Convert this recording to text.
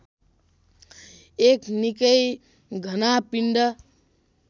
एक निक्कै घना पिण्ड